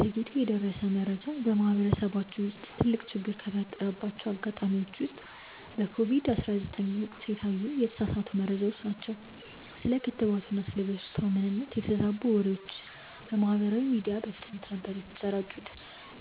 ዘግይቶ የደረሰ መረጃ በማህበረሰባችን ውስጥ ትልቅ ችግር ከፈጠረባቸው አጋጣሚዎች አንዱ በኮቪድ 19 ወቅት የታዩ የተሳሳቱ መረጃዎች ናቸው። ስለ ክትባቱና ስለ በሽታው ምንነት የተዛቡ ወሬዎች በማህበራዊ ሚዲያ በፍጥነት ነበር የተሰራጩት